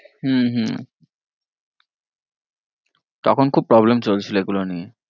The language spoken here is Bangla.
হম হম তখন খুব problem চলছিল এইগুলো নিয়ে।